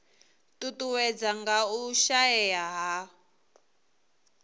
ṱuṱuwedzwa nga u shaea ha